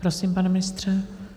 Prosím, pane ministře.